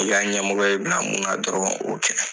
I ka ɲɛmɔgɔ y'i bila mun dɔrɔn o kɛ.